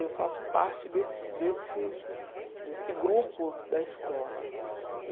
Eu faço parte desse desse desse grupo da escola. E